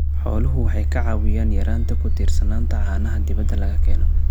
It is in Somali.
Xooluhu waxay ka caawiyaan yaraynta ku tiirsanaanta caanaha dibadda laga keeno.